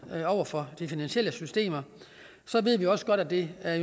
over for de finansielle systemer ved vi jo også godt at det er